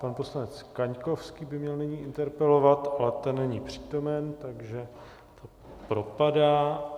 Pan poslanec Kaňkovský by měl nyní interpelovat, ale ten není přítomen, takže to propadá.